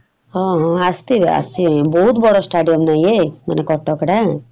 ହଁ ହଁ ଆସିଥିବେ ଆସିବେ ବହୁତ୍ ବଡ stadium ନା ଇଏ ମାନେ କଟକ ର ।